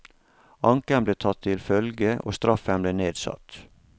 Anken ble tatt til følge, og straffen ble nedsatt.